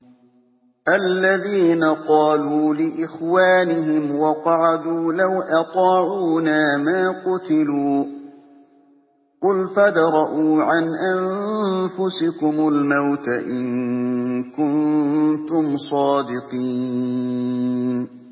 الَّذِينَ قَالُوا لِإِخْوَانِهِمْ وَقَعَدُوا لَوْ أَطَاعُونَا مَا قُتِلُوا ۗ قُلْ فَادْرَءُوا عَنْ أَنفُسِكُمُ الْمَوْتَ إِن كُنتُمْ صَادِقِينَ